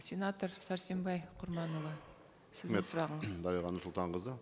сенатор сәрсенбай құрманұлы сіздің сұрағыңыз дариға нұрсұлтанқызы